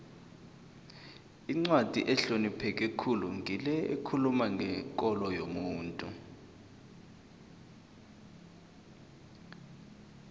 incwadi ehlonipheke khulu ngile ekhuluma ngekolo yomuntu